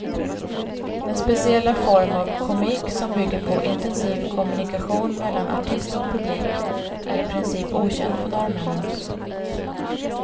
Den speciella form av komik som bygger på intensiv kommunikation mellan artist och publik är i princip okänd för norrmännen.